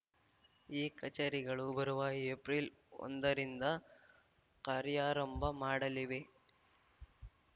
ಈ ಕಚೇರಿಗಳು ಬರುವ ಏಪ್ರಿಲ್‌ ಒಂದರಿಂದ ಕಾರ್ಯಾರಂಭ ಮಾಡಲಿವೆ